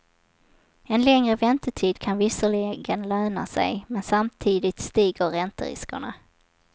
En längre väntetid kan visserligen löna sig, men samtidigt stiger ränteriskerna.